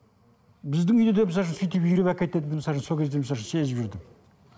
біздің үйде сөйтіп үйріп әкететінін сол кезде сезіп жүрдім